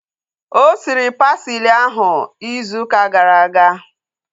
O siri pasili ahu izu ụka gara aga